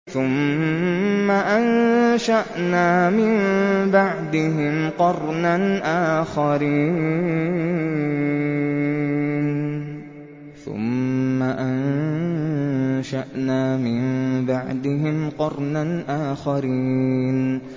ثُمَّ أَنشَأْنَا مِن بَعْدِهِمْ قَرْنًا آخَرِينَ